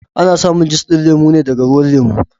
Ana samin juss din lemo ne daga ruwan lemo.